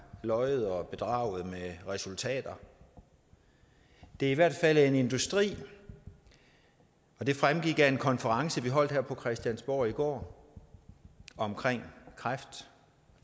løjet og bedraget med resultater det er i hvert fald en industri og det fremgik af en konference vi holdt her på christiansborg i går om kræft og